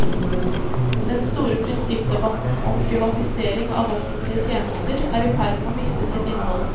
Den store prinsippdebatten om privatisering av offentlige tjenester er i ferd med å miste sitt innhold.